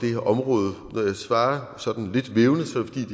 her område når jeg svarer sådan lidt vævende